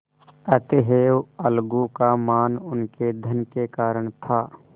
अतएव अलगू का मान उनके धन के कारण था